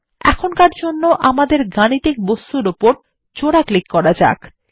এখনকার জন্য আমাদের গাণিতিক বস্তুর উপর জোড়া ক্লিক করা যাক